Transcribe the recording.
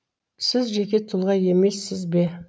сіз жеке тұлға емессіз бе